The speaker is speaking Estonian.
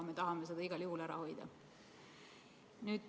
Me tahame seda igal juhul ära hoida.